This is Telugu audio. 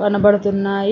కనబడుతున్నాయి.